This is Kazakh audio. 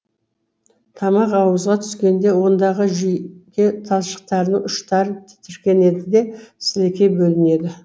тамақ ауызға түскенде ондағы жүйке талшықтарының ұштары тітіркенеді де сілекей бөлінеді